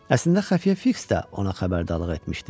Əslində xəfiyyə Fiks də ona xəbərdarlıq etmişdi.